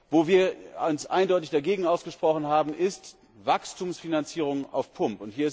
Wo wir uns eindeutig dagegen ausgesprochen haben, ist Wachstumsfinanzierung auf Pump.